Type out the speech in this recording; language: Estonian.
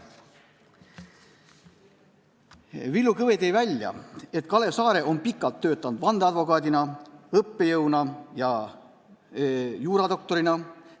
Villu Kõve tõi välja, et Kalev Saare on pikalt töötanud vandeadvokaadina, õppejõuna ja juuradoktorina.